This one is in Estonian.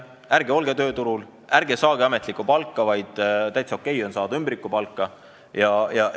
Ärge olge tööturul, ärge saage ametlikku palka, vaid täiesti okei on saada ümbrikupalka!